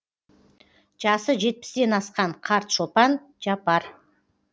жасы жетпістен асқан қарт шопан жапар